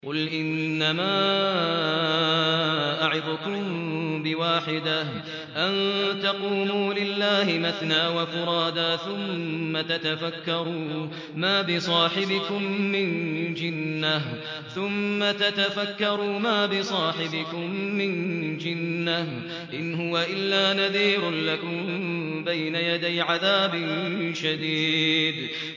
۞ قُلْ إِنَّمَا أَعِظُكُم بِوَاحِدَةٍ ۖ أَن تَقُومُوا لِلَّهِ مَثْنَىٰ وَفُرَادَىٰ ثُمَّ تَتَفَكَّرُوا ۚ مَا بِصَاحِبِكُم مِّن جِنَّةٍ ۚ إِنْ هُوَ إِلَّا نَذِيرٌ لَّكُم بَيْنَ يَدَيْ عَذَابٍ شَدِيدٍ